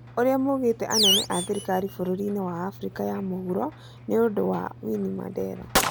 ũria maũgite anene a thirikari bũrũrini wa Afriaca ya Mũhuro nĩũndu wa Winnie Mandela